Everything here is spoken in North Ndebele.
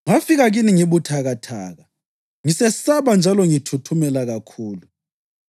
Ngafika kini ngibuthakathaka, ngisesaba njalo ngithuthumela kakhulu.